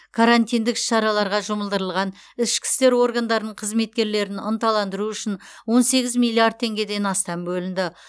карантиндік іс шараларға жұмылдырылған ішкі істер органдарының қызметкерлерін ынталандыру үшін он сегіз миллиард теңгеден астам бөлінді